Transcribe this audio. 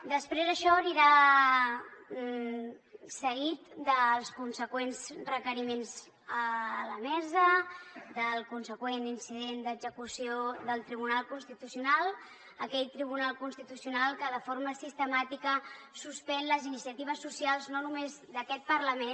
després això anirà seguit dels consegüents requeriments a la mesa del consegüent incident d’execució del tribunal constitucional aquell tribunal constitucional que de forma sistemàtica suspèn les iniciatives socials no només d’aquest parlament